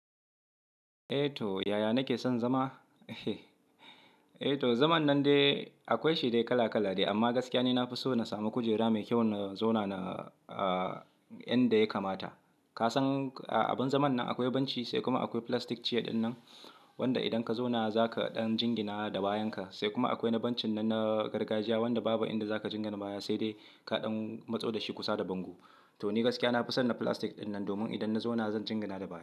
Eh to yaya nake son zama? Eh to zaman nan dai akwai shi dai kala kala ne amma gaskiya ne na fi so na samu kujera mai kyau na zauna na a yan da ya kamata. Ka san a abun zaman nan akwai benci sai kuma akwai plastic char din nan wanda idan ka zauna zaka ɗan jingina da bayan ka. Sai kuma akwai na bencin nan na gargajiya wanda babu inda zaka jingana baya sai dai kaɗan matso dashi kusa da bango. To ni gaskiya na fi son na plastic ɗinnan domin idan na zauna zan jingina da baya.